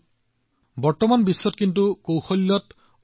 ভগৱান বিশ্বকৰ্মাৰ উপাসনাও কেৱল আনুষ্ঠানিকতাৰ জৰিয়তে সম্পূৰ্ণ নহয়